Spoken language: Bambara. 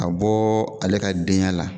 Ka bɔ ale ka den y' a la.